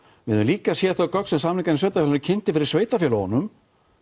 við höfum líka séð þau gögn sem samningar sveitarfélaganna kynnti fyrir sveitarfélögunum